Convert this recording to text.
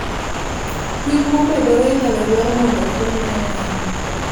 Pim momedore inyalo dwar mondo ofuenye ayanga